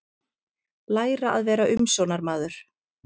Læra að vera umsjónarmaður